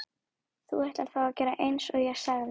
Þú ætlar þá að gera einsog ég sagði?